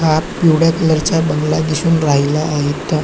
आत पिवळ्या कलर चा बंगला दिसून राहीला आहेत त्या--